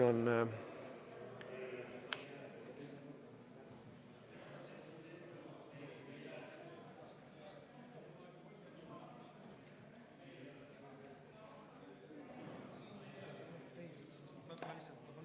V a h e a e g